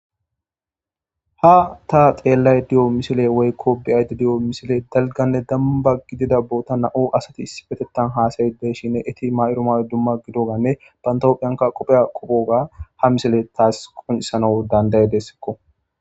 Ha ta xeellay di'o misile woykko bi'ayde di'o misile dalganne damba gidida boota na'o asati issibetettan haasayi dey shinne eti ma'iro mawe dumma gidoganne pantophiyanka qopheya qopoga ha misile taas qunisano dandaye dessekko.